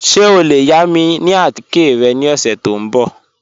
Ṣẹ o le yà mi atikẹ̀ rẹ ni ọṣẹ̀ tó nbọ̀?